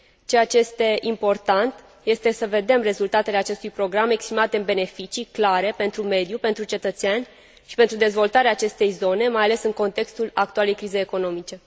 Ceea ce este important este să vedem rezultatele acestui program exprimate în beneficii clare pentru mediu, pentru cetățeni și pentru dezvoltarea acestei zone, mai ales în contextul actualei crize economice.